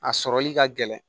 A sɔrɔli ka gɛlɛn